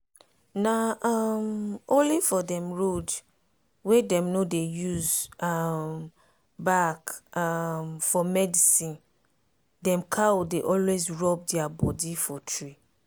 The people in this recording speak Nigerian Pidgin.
na um only for dem road wey dem no dey use um bark um for medicine dem cow dey always rub dia body for tree.